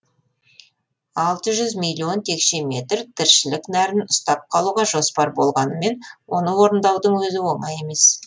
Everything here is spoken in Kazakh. алты жүз миллион текше метр тіршілік нәрін ұстап қалуға жоспар болғанымен оны орындаудың өзі оңай емес